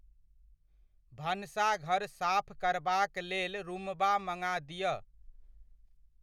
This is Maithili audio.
भनसाघर साफ करबाक लेल रूमबा मङा दिअ।